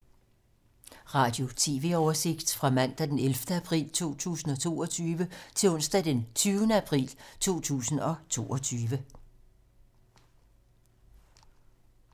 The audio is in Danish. Radio/TV oversigt fra mandag d. 11. april 2022 til onsdag d. 20. april 2022